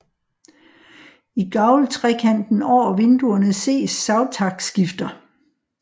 I gavltrekanten over vinduerne ses savtakskifter